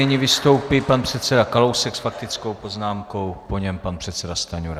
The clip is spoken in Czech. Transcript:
Nyní vystoupí pan předseda Kalousek s faktickou poznámkou, po něm pan předseda Stanjura.